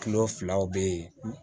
Kilo filaw bɛ yen